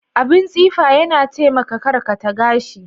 Abin tsifa Yana taimaka karkata gashi.